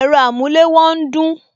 Ẹ̀rọ amulewo ń dún